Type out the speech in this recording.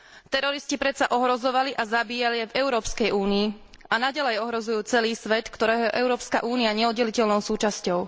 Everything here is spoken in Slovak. Teroristi predsa ohrozovali a zabíjali aj v Európskej únii a naďalej ohrozujú celý svet, ktorého je Európska únia neoddeliteľnou súčasťou.